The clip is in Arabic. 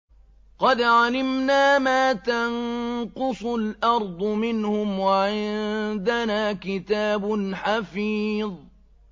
قَدْ عَلِمْنَا مَا تَنقُصُ الْأَرْضُ مِنْهُمْ ۖ وَعِندَنَا كِتَابٌ حَفِيظٌ